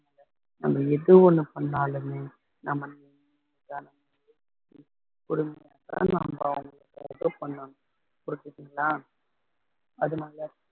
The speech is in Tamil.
நம்ம எது ஒண்ணு பண்ணாலுமே நம்ம பண்ணனும் புரிஞ்சுதிங்களா அதனால